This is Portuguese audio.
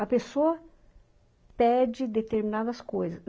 A pessoa pede determinadas coisas.